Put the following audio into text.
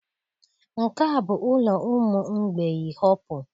Nke a bụ ụlọ ụmụ mgbei Hopu